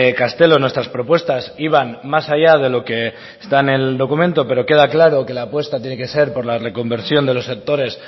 castelo nuestras propuestas iban más allá de lo que está en el documento pero queda claro que la apuesta tiene que ser por la reconversión de los sectores